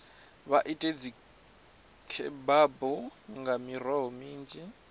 vha ite dzikhebabu nga miroho minzhi